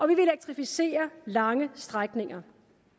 vil elektrificere lange strækninger